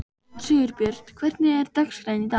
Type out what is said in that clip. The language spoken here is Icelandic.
Sigurbjört, hvernig er dagskráin í dag?